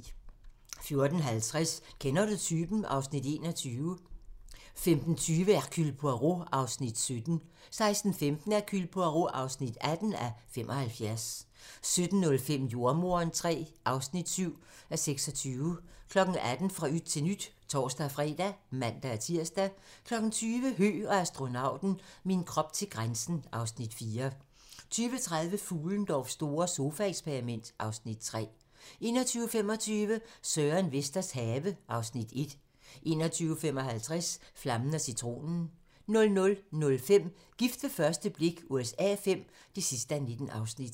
14:50: Kender du typen? (Afs. 21) 15:20: Hercule Poirot (17:75) 16:15: Hercule Poirot (18:75) 17:05: Jordemoderen III (7:26) 18:00: Fra yt til nyt (tor-fre og man-tir) 20:00: Høgh og astronauten - min krop til grænsen (Afs. 4) 20:30: Fuhlendorffs store sofaeksperiment (Afs. 3) 21:25: Søren Vesters have (Afs. 1) 21:55: Flammen & Citronen 00:05: Gift ved første blik USA V (19:19)